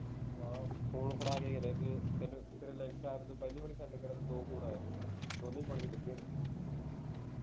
ਹਾਂ phone ਫੜਾਕੇ ਤੈਨੂੰ ਤੇਰੇ ਲਈ ਤੋਂ ਪਹਿਲੀ ਬਾਰ send ਕਰਨ ਤੇ ਦੋ phone ਆਏ ਸੀ ਦੋਨੇਂ ਪਾਣੀ ਚ ਡਿਗੇ ਨੇ